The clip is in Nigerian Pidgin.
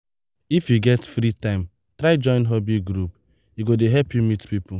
if you get free time try join hobby group; e go help you meet people.